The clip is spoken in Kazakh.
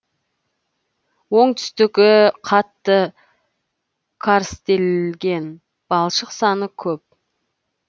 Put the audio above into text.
оңтүстігі қатты карстелген балшық саны көп